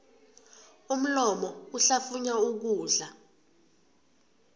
umlomo uhlafunya ukudla